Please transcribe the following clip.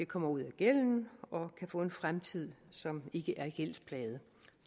kommer ud af gælden og kan få en fremtid som ikke er gældsplaget